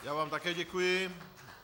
Já vám také děkuji.